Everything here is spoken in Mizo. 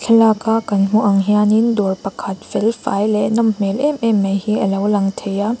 thlalak a kan hmuh ang hianin dawr pakhat fel fai leh nawm hmel em em mai hi alo lang thei a.